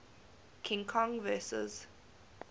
king kong vs